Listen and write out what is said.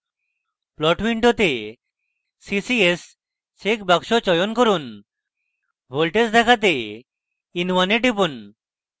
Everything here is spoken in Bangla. plot window ccs চেকবাক্স চয়ন করুন voltage দেখাতে in1 এ টিপুন